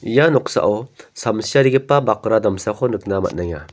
ia noksao samsiarigipa bakra damsako nikna man·enga.